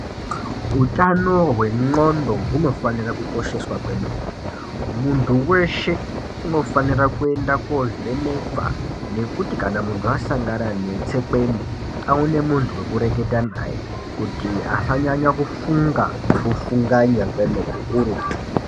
Utano hwendxondo hunofanira kukoshesha kwemene. Muntu weshe unofanira kuenda koovhenekwa nekuti kana muntu asangana netsekwende aone muntu wekureketa naye. Kuti asanyanya kufunga nekufunganya kukurutu.